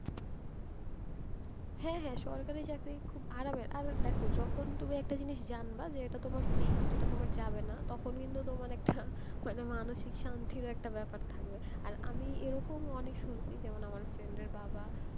হ্যাঁ হ্যাঁ, সরকারি চাকরি খুব আরামের, আর দেখো যখন তুমি একটা জিনিস জানবা, যে একটা তোমার fixed এটা তোমার যাবে না, তখন কিন্তু তোমার একটা, মানে মানুষিক শান্তিরও ব্যাপার থাকবে। আর আমি এরকমও অনেক শুনেছি যেমন আমার friend এর বাবা,